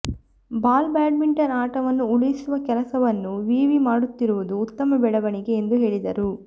ball badminton ಆಟವನ್ನು ಉಳಿಸುವ ಕೆಲಸವನ್ನು ವಿವಿ ಮಾಡುತ್ತಿರುವುದು ಉತ್ತಮ ಬೆಳವಣಿಗೆ ಎಂದು ಹೇಳಿದರು